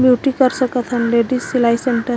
beauty कर सकत हे लेडिस सिलाई सेन्टर --